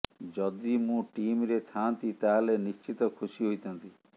ଯଦି ମୁଁ ଟିମରେ ଥାନ୍ତି ତାହେଲେ ନିଶ୍ଚିତ ଖୁସି ହୋଇଥାନ୍ତି